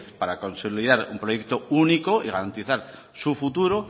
para consolidar un proyecto único y garantizar su futuro